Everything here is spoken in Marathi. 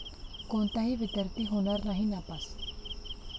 कोणताही विद्यार्थी होणार नाही नापास